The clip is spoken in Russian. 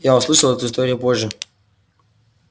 я услышал эту историю позже